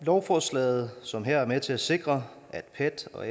lovforslaget som her er med til at sikre at pet og